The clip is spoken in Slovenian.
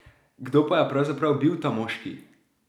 Kdo pa je pravzaprav bil ta moški?